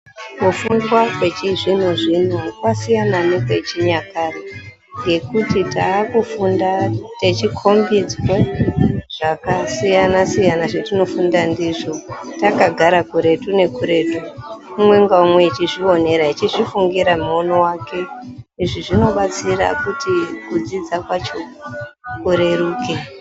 Kufunda kwechizvino zvino kwasiyana nekwechinyakare nekuti taakufunda tichi kombedzwa zvakasiyana siyana zvetinofunda ndizvo takagara kuretu nekuretu ,umwe unenge echizviwonera echizvifungira muwono wake izvi zvinobatsira kuti kudzidza kwacho kureruke.